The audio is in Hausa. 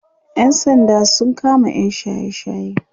ƴan sanda sun kama yam shaye shaye